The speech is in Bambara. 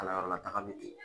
Kalanyɔrɔlataga bi ten